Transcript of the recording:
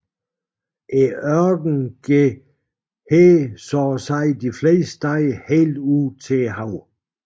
Ørkenen går her så at sige de fleste steder helt ud til havet